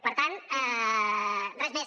per tant res més